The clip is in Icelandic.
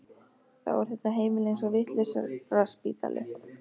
Þá er þetta heimili eins og vitlausraspítali.